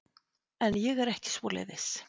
En ég er ekki svoleiðis.